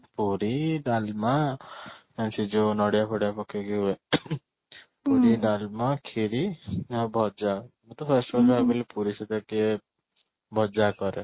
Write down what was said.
ପୁରି, ଡାଲମା ଆଉ ସେଇ ଯୋଉ ନଡ଼ିଆ ଫଡିଆ ପକେଇକି ହୁଏ ଡାଲମା, ଖିରି ଆଉ ଭଜା ମତେ ପୁରୀ ସହିତ ଟିକେ ଭଜା କରେ